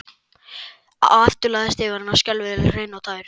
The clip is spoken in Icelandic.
Og aftur lagðist yfir hann skelfing hrein og tær.